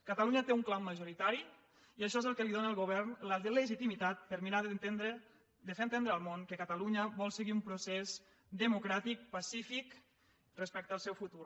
catalunya té un clam majoritari i això és el que li dóna al govern la legitimitat per mirar de fer entendre al món que catalunya vol seguir un procés democràtic pacífic respecte al seu futur